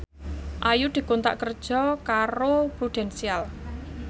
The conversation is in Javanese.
Ayu dikontrak kerja karo Prudential